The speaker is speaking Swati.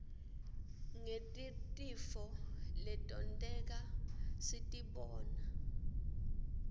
ngetirtifo letonteka sitibona